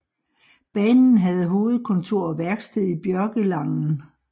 Banen havde hovedkontor og værksted i Bjørkelangen